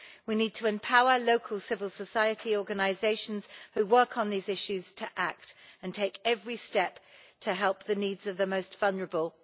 We need to empower local civil society organisations who work on these issues to act and take every step to help the needs of the most vulnerable.